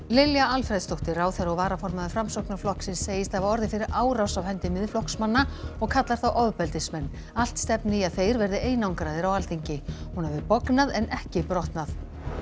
Lilja Alfreðsdóttir ráðherra og varaformaður Framsóknarflokksins segist hafa orðið fyrir árás af hendi Miðflokksmanna og kallar þá ofbeldismenn allt stefni í að þeir verði einangraðir á Alþingi hún hafi bognað en ekki brotnað